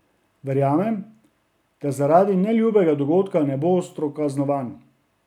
Verjamem, da zaradi neljubega dogodka ne bo ostro kaznovan.